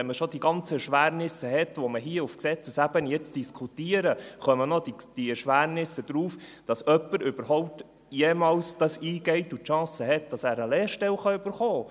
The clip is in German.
Wenn man schon die ganzen Erschwernisse hat, die wir hier auf Gesetzesebene jetzt diskutieren, kommen noch die Erschwernisse dazu, dass jemand dies überhaupt jemals eingeht und die Chance hat, dass er eine Lehrstelle erhalten kann.